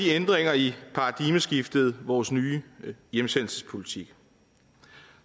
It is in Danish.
ændringerne i paradigmeskiftet vores nye hjemsendelsespolitik